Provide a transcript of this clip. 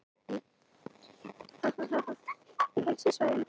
Helstu svæðin eru Kanada-Grænland